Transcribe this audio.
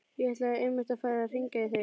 Ég ætlaði einmitt að fara að hringja í þig.